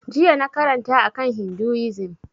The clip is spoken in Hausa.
Jiya na karanta a kan hinduism